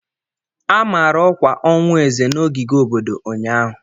A mara ọkwa ọnwụ Eze na ogige obodo ụnyaahụ.